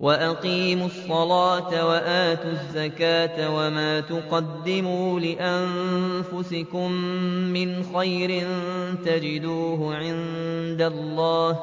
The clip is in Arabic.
وَأَقِيمُوا الصَّلَاةَ وَآتُوا الزَّكَاةَ ۚ وَمَا تُقَدِّمُوا لِأَنفُسِكُم مِّنْ خَيْرٍ تَجِدُوهُ عِندَ اللَّهِ ۗ